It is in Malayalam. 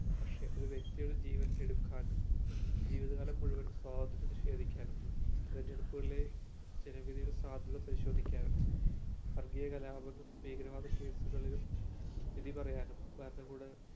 പക്ഷെ ഒരു വ്യക്തിയുടെ ജീവിതത്തെ എടുക്കാനും ജീവിത കാലം മുഴുവനും സ്വാതന്ത്ര്യം നിഷേധിക്കാനും തെരഞ്ഞെടുപ്പുകളിലെ ജന വിധിയുടെ സാധ്യത പരിശോധിക്കാനും വർഗീയ കലാപം ഭീകരവാദ case കളിലും വിധി പറയാനും ഭരണകൂട